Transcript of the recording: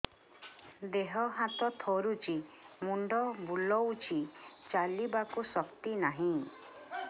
ଦେହ ହାତ ଥରୁଛି ମୁଣ୍ଡ ବୁଲଉଛି ଚାଲିବାକୁ ଶକ୍ତି ନାହିଁ